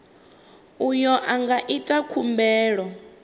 uyo a nga ita khumbelo